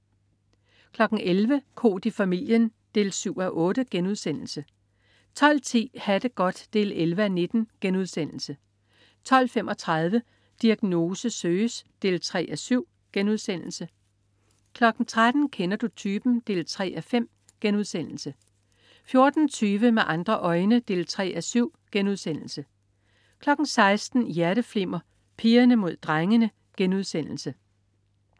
11.00 Koht i familien 7:8* 12.10 Ha' det godt 11:19* 12.35 Diagnose søges 3:7* 13.00 Kender du typen? 3:5* 14.20 Med andre øjne 3:7* 16.00 Hjerteflimmer: Pigerne mod drengene*